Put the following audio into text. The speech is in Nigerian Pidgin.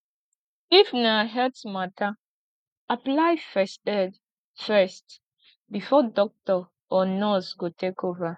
if na health matter apply first aid first before doctor or nurse go take over